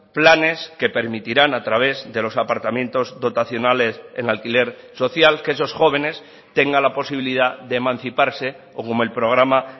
planes que permitirán a través de los apartamentos dotacionales en alquiler social que esos jóvenes tenga la posibilidad de emanciparse o como el programa